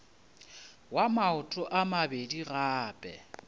wa maoto a mabedi gape